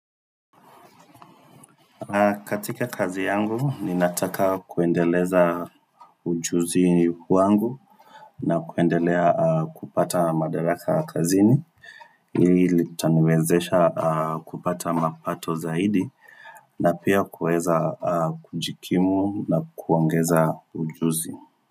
Katika kazi yangu, ninataka kuendeleza ujuzi wangu na kuendelea kupata madaraka kazini. Ili litaniwezesha kupata mapato zaidi na pia kuweza kujikimu na kuongeza ujuzi.